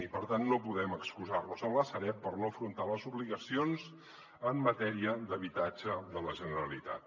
i per tant no podem excusar nos en la sareb per no afrontar les obligacions en matèria d’habitatge de la generalitat